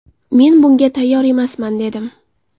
Men bunga tayyor emasman’, dedim.